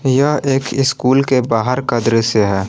यह एक स्कूल के बाहर का दृश्य है।